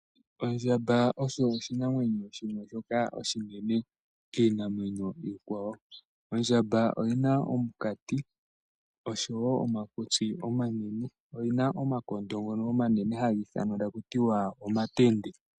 Ondjamba osho oshinamwenyo shimwe shoka oshinene kiinamwenyo iikwawo, ondjamba oyina omukati oshowo omakutsi omanene oyina omakondo ngono omanene haga ithanwa taku tiwa omatende.